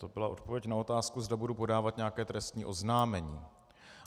To byla odpověď na otázku, zda budu podávat nějaké trestní oznámení.